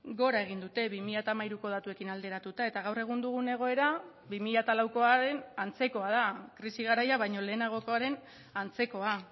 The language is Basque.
gora egin dute bi mila hamairuko datuekin alderatuta eta gaur egun dugun egoera bi mila laukoaren antzekoa da krisi garaia baino lehenagokoaren antzekoa